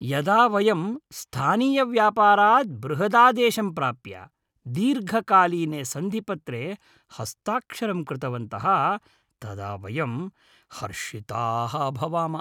यदा वयं स्थानीयव्यापारात् बृहदादेशं प्राप्य दीर्घकालीने सन्धिपत्रे हस्ताक्षरं कृतवन्तः तदा वयं हर्षिताः अभवाम।